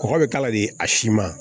Kɔgɔ bɛ k'a la de a si ma